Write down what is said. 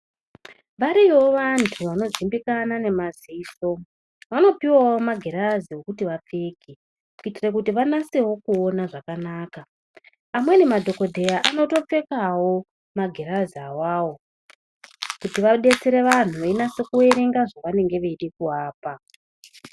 Variyowo vantu vanozivikanwa nemadziso vanopuwa magirazi ekuti vapfeke kuitira kuti vanasewinkyona zvakanaka amweni madhokodheya anotopfekawo magirazi awowo kuti vadetsere vantu veiona zvavanenge veida kuvapa.